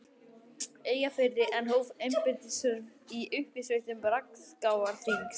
Eyjafirði en hóf embættisstörf í uppsveitum Rangárþings.